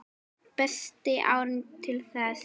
Besti árangur til þessa?